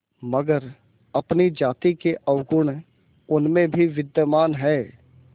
मगर अपनी जाति के अवगुण उनमें भी विद्यमान हैं